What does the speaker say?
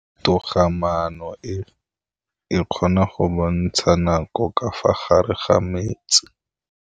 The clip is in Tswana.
Toga-maanô e, e kgona go bontsha nakô ka fa gare ga metsi.